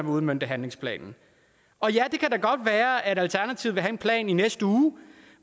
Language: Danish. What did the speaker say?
udmønte handlingsplanen og ja det kan da godt være at alternativet vil have en plan i næste uge